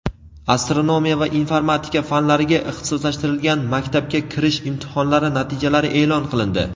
astronomiya va informatika fanlariga ixtisoslashtirilgan maktabga kirish imtihonlari natijalari e’lon qilindi.